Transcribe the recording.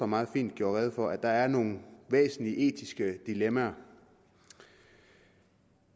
meget fint gjorde rede for at der er nogle væsentlige etiske dilemmaer og